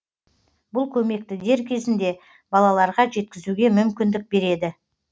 бұл көмекті дер кезінде балаларға жеткізуге мүмкіндік береді